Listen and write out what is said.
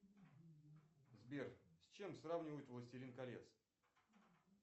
сбер с чем сравнивают властелин колец